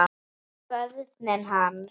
Og börnin hans.